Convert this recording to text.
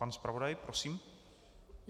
Pan zpravodaj, prosím.